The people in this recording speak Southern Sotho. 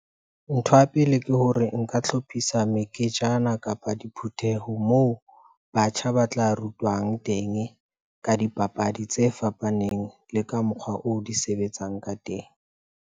Ntho ya pele ke hore, nka hlophisa meketjana kapa diputheho moo batjha batla rutwang teng. Ka dipapadi tse fapaneng le ka mokgwa oo di sebetsang ka teng.